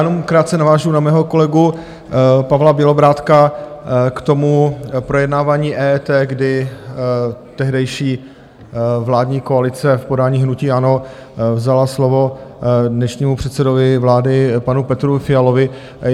Jenom krátce navážu na svého kolegu Pavla Bělobrádka k tomu projednávání EET, kdy tehdejší vládní koalice v podání hnutí ANO vzala slovo dnešnímu předsedovi vlády panu Petru Fialovi.